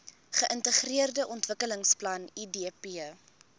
geintegreerde ontwikkelingsplan idp